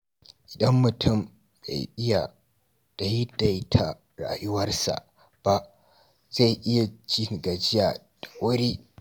Idan mutum bai iya daidaita rayuwarsa ba, zai iya jin gajiya da wuri.